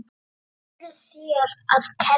Hvað eruð þér að gera?